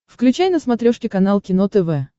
включай на смотрешке канал кино тв